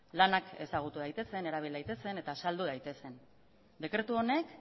lanak ezagutu daitezen erabil daitezen eta saldu daitezen dekretu honek